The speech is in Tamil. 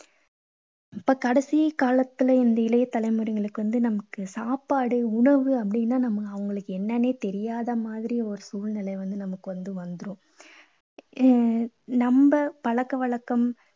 இப்போ கடைசி காலத்துல இந்த இளைய தலைமுறையினருக்கு வந்து நமக்கு சாப்பாடு, உணவு அப்படீன்னா நம்ம அவங்களுக்கு என்னன்னே தெரியாத மாதிரி ஒரு சூழ்நிலை வந்து நமக்கு வந்து வந்துரும். எர் நம்ம பழக்க வழக்கம்